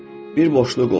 Bir boşluq olur.